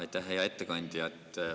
Aitäh, hea ettekandja!